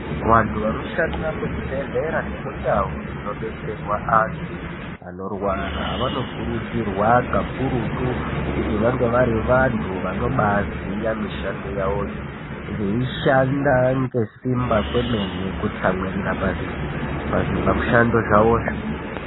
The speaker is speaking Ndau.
Vantu vanoshanda muzvibhehlera nemundau dzinobetserwa antu anorwara vanokurudzirwa kakurutu kuti vange vari vanhu vanoba aziya mishando yawo, veishanda nesimba kwemene, kutsamwirira pazvimishando zvawozvo.